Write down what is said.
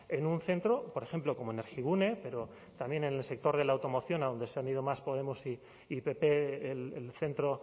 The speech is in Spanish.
en un centro por ejemplo como energigune pero también en el sector de la automoción a donde se han ido más podemos y pp el centro